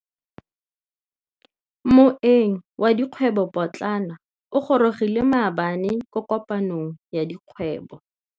Moêng wa dikgwêbô pôtlana o gorogile maabane kwa kopanong ya dikgwêbô.